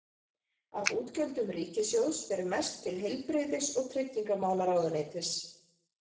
Af útgjöldum ríkissjóðs fer mest til heilbrigðis- og tryggingamálaráðuneytis.